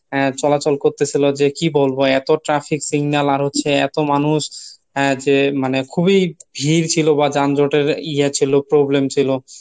আহ চলাচল করতেছিলো যে কী বলবো এতো traffic signal আর হচ্ছে এতো মানুষ যে মানে খুবই ভিড় ছিল বা যানজটের ইয়ে ছিল problem ছিল।